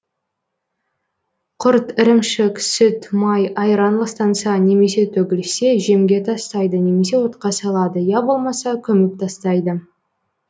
құрт ірімшік сүт май айран ластанса немесе төгілсе жемге тастайды немесе отқа салады я болмаса көміп тастайды